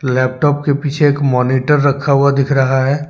Laptop के पीछे एक मॉनिटर रखा हुआ दिख रहा है।